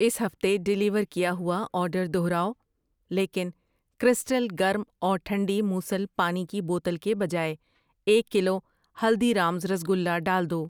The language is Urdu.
اس ہفتے ڈیلیور کیا ہوا آرڈر دوہراؤ لیکن کریسٹل گرم اور ٹھنڈی موصل پانی کی بوتل کے بجائے ایک کلو ہلدی رامز رسگلا ڈال دو۔